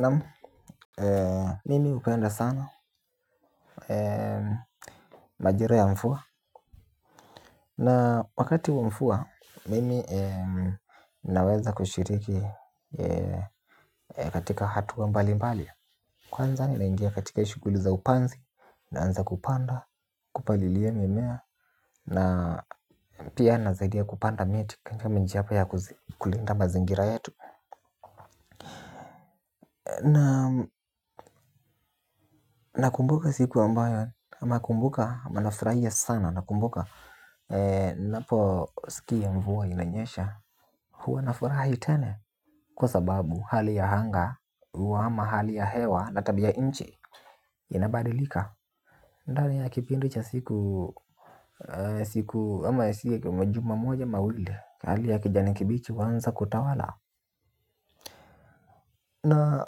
Namu, mimi upenda sana majira ya mfua. Na wakati wa mfua, mimi naweza kushiriki katika hatua mbali mbali. Kwanza ni naingia katika ishuguli za upanzi, naanza kupanda, kupalilia mimea. Na pia nazaidia kupanda mieti kanyama nji hapa ya kulinda mazingira yetu. Na na kumbuka siku ambayo na kumbuka ma nafuraia sana na kumbuka napo sikia mvua inanyesha. Huwa nafurahi tele kwa sababu hali ya hanga huwa ama hali ya hewa na tabia inchi inabadilika. Ndani ya kipindi cha siku siku wa ama esie kwa majuma moja mawile kari ya kijani kibichi wanza kutawala. Na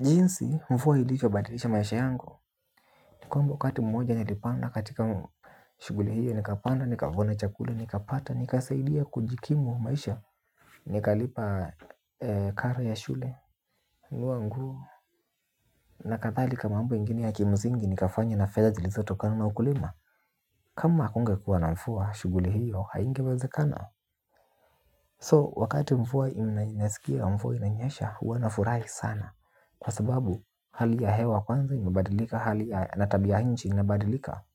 jinsi mvua ilikobadilisha maisha yangu nikuamba wakati mmoja nilipanda katika shuguli hiyo nikapanda, nikavuna chakula, nikapata, nikasaidia kujikimu maisha. Nikalipa karo ya shule nunua nguo. Na kadhalika mambo ingini ya kimsingi nikafanya na fedha jilizotokana na ukulima. Kama akungekuwa na mfua shuguli hiyo haingewazekana So wakati mfua inasikia mfuwa inanyesha huwanafurahi sana. Kwa sababu hali ya hewa kwanza imabadilika hali ya natabia ya inchi inabadilika. Kwa hivyo.